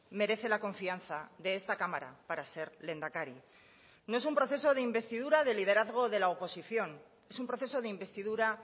merece la confianza de esta cámara para ser lehendakari no es un proceso de investidura de liderazgo de la oposición es un proceso de investidura